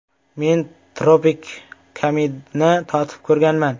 “Men tropikamidni totib ko‘rganman.